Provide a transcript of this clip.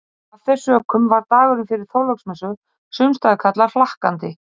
Af þeim sökum var dagurinn fyrir Þorláksmessu sumstaðar kallaður hlakkandi.